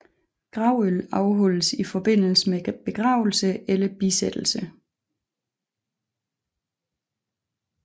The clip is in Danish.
Gravøl afholdes i forbindelse med begravelser eller bisættelser